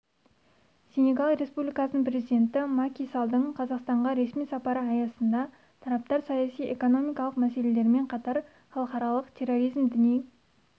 сенегал республикасының президенті маки саллдың қазақстанға ресми сапары аясында тараптар саяси-экономикалық мәселелермен қатар халықаралық терроризм діни